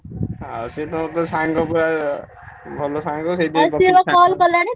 ଆଉ ସିଏ ତମର ତ ସାଙ୍ଗ ଭଳିଆ ଭଲ ସାଙ୍ଗ ସେଇଥିପାଇଁ